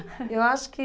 eu acho que...